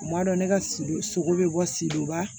U b'a dɔn ne ka si sogo bɛ bɔ si dɔba